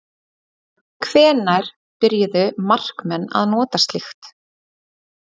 Hvenær byrjuðu markmenn að nota slíkt?